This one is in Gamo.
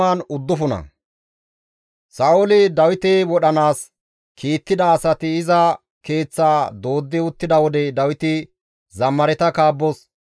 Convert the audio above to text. Abeet ta Xoossawu! Ta morkketappe tana ashsha; ta bolla dendizaytappe tana naaga.